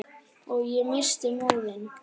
Og ég missti móðinn.